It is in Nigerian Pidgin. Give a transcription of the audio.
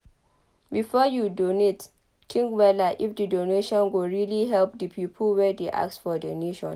Before you donate think wella if di donation go really help di pipo wey dey ask for donation